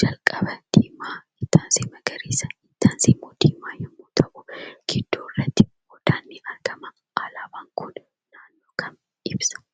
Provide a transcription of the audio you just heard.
calqaba diimaa, itti aansee magariisa itti aansee immoo diimaa yogguu ta'u gidduurratti odaan ni argama. Alaabaan kun naannoo kam ibsa?